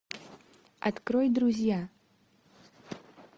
открой друзья